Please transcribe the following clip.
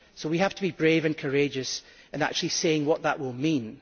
So we have to be brave and courageous in actually saying what that will mean.